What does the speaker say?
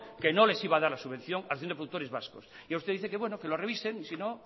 que no les iba a dar subvención a la asociación de productores vascos y usted dice que bueno que lo revisen y si no